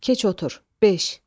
Keç otur, beş.